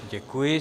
Děkuji.